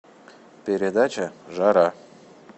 передача жара